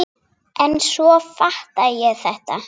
En svo fattaði ég þetta!